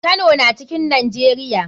Kano na cikn nijeria.